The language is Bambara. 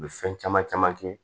U bɛ fɛn caman caman kɛ